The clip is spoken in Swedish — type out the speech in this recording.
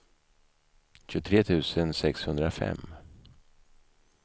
tjugotre tusen sexhundrafem